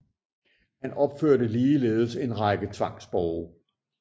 Han opførte ligeledes en række tvangsborge